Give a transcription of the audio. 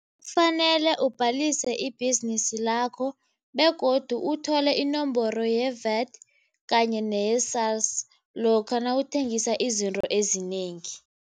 Kufanele ubhalise ibhizinisi lakho begodu uthole inomboro ye-VAT kanye neye-SARS lokha nawuthengisa izinto ezinengi.